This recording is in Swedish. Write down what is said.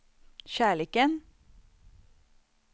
kärleken